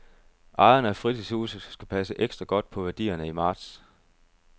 Ejerne af fritidshuse skal passe ekstra godt på værdierne i marts.